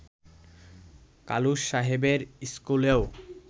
কালুস সাহেবের স্কুলেও